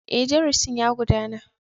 Ee, darasin ya gudana.